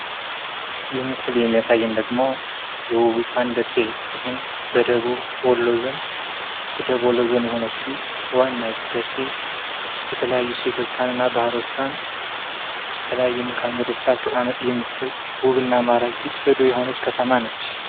ይህ ምስል የሚያሳየን ደግሞ የውቢቷን ደሴ ይህም የደቡብ ወሎ ዞን የሆነችው ዋናይቱ ደሴ የተለያዩ ሴቶቿ እና ባህሎቿን በተለያዩ መልከ መንገዶቿ አቀማመጥ የምትገልጽ ውብና ማራኪ ጽዱ የሆነች ከተማ ነች።